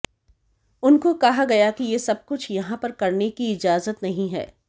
उनको कहा गया कि ये सब कुछ यहां पर करने की इजाजत नहीं है